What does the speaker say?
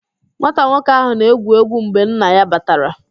Nwata nwoke ahụ na-egwu egwu mgbe nna ya batara